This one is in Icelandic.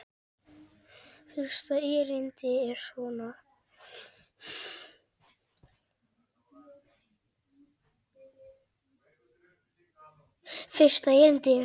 Fyrsta erindi er svona